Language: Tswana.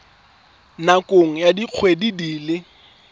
nakong ya dikgwedi di le